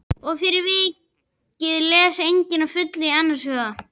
Og fyrir vikið les enginn að fullu í annars hug.